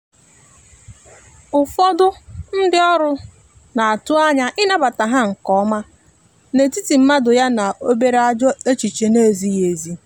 ụfọdụ ndi ọrụ n'atụ anya ịnabata ha nke ọma n’etiti mmadụ ya na obere ajọ echiche na ezighi ezi